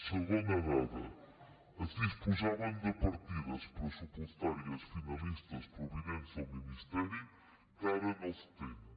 segona dada es disposaven de partides pressupostàries finalistes provinents del ministeri que ara no es tenen